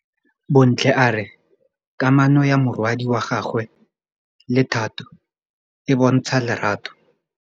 Bontle a re kamanô ya morwadi wa gagwe le Thato e bontsha lerato.